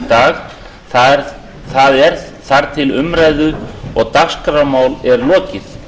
dag það er þar til umræðu og dagskrármálum er lokið